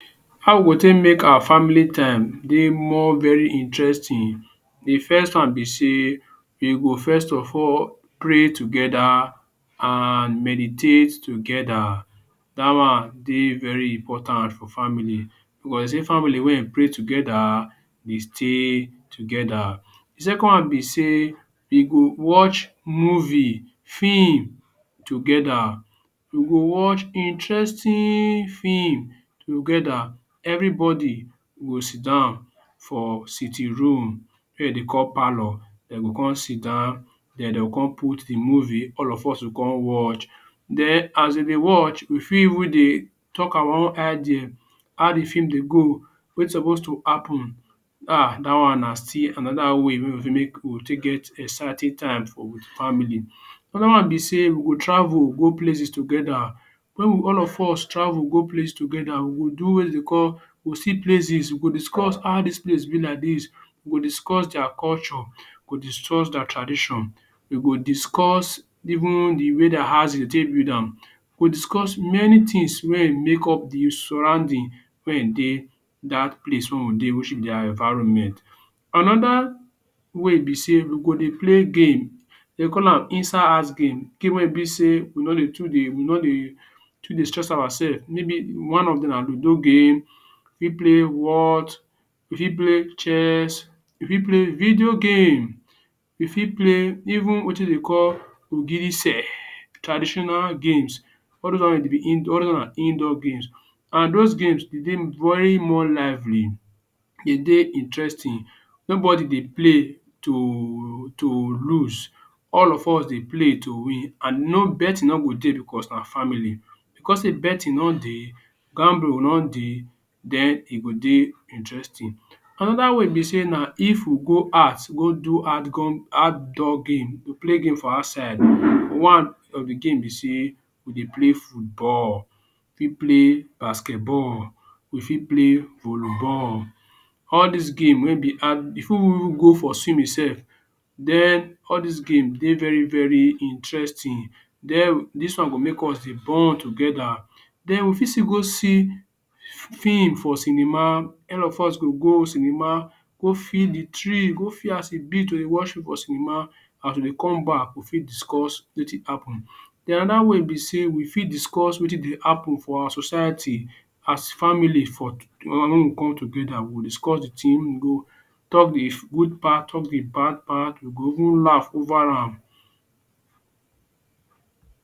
How we go take make our family time dey more very interesting? The first one be sey you go first of all pray together an meditate together. Dat one dey very important for family. Wen you see family wey ein pray together dey stay together. The second one be sey you go watch movie, film together. You go watch interesting film together. Everybody go sit down for sitting room wey de dey call parlor. Dem go con sit down then de go con put the movie, all of us go con watch. Then as de dey watch, we fit even dey talk about idea, how the film dey go, wetin suppose to happen. Ah dat on na still another way wey we fit make we take get exciting time for we family. Another one be sey we go travel go places together. Make we all of us go place together. We go do wetin de dey call we go see places, we go discuss how dis place be like dis, we go discuss dia culture, we go discuss dia tradition, we go discuss even the way the house de dey take build am. We go discuss many tins wey make up the surrounding wey ein dey dat place wey dia environment. Another way be sey you go dey play game. De call am inside-house game. Game wey e be sey you no dey too dey you no dey too dey stress oursef maybe one of dem na Ludo game, fit Whot, you fit play Chess, you fit play video game. You fit play even wetin de call Ogirise traditional games. All dos one de be indoor all those na indoor games, and dos game de dey very more lively, de dey interesting. Nobody dey play to to lose. All of us dey play to win. And no betting no go dey becos na family. Becos sey betting no dey, gamble no dey, then e go dey interesting. Another way be sey na if we go out go do outdoor game – play game for outside. One of the game be sey we dey play football, fit play basketball. We fit play volleyball. All dis game wey be we fit even go for swimming sef. Then all dis game dey very very interesting. Then dis one go make us dey bond together. Then we fit still go see film for cinema. All of us go go cinema go feel the thrill, go feel as e be to dey watch film for cinema. As we dey come back, we fit discuss wetin happen. Then another way be sey we fit discuss wetin dey happen for our society as family for wen we come together, we will discuss the tin we go talk the good part, talk the bad part. You go even laugh over am.